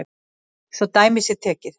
Svo dæmi sé tekið.